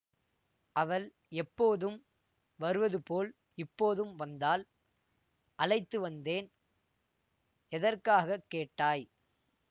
அவள் எப்போதும் வருவது போல் இப்போதும் வந்தாள் அழைத்து வந்தேன் எதற்காக கேட்டாய்